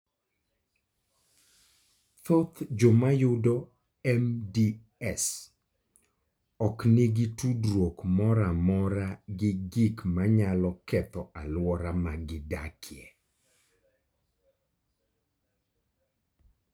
Thoth joma yudo MDS ok nigi tudruok moro amora gi gik manyalo ketho alwora ma gidakie.